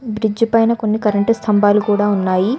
Bridge పైన కొన్ని current స్తంభాలు కూడా ఉన్నాయి.